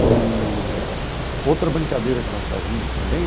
Eee outra brincadeira que nós fazíamos também